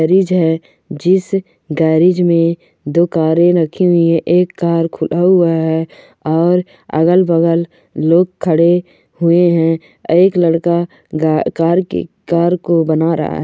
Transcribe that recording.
Garage है जिस garage मे दो कारे रखि हुइ है एक कार खुला हुआ है ओर अगल बगल लोग खडे हुए है एक लड़का गा कार की कार को बना रहा है।